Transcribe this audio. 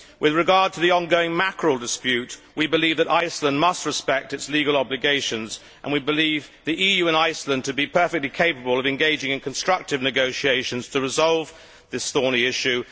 With regard to the ongoing mackerel dispute we believe that Iceland must respect its legal obligations and we believe the EU and Iceland to be perfectly capable of engaging in constructive negotiations to resolve this thorny issue.